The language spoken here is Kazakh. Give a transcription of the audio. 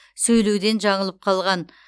сөйлеуден жаңылып қалған